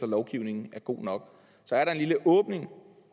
lovgivningen er god nok så er der en lille åbning